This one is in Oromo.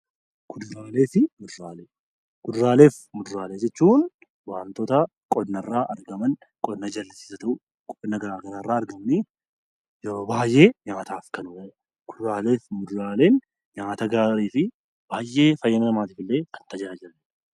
Kuduraalee fi muduraalee Kuduraalee fi muduraalee jechuun waantota qonna irraa argaman qonna jallisiis haa ta'uu, qonna garaagaraa irraa argamanii yeroo baayyee nyaataaf kan oolan. Kuduraanis muduraan nyaata gaarii fi baayyee fayyina namaatiif illee kan tajaajilanidha